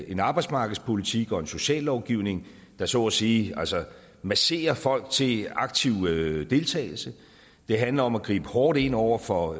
en arbejdsmarkedspolitik og en sociallovgivning der så at sige masserer folk til aktiv deltagelse det handler om at gribe hårdt ind over for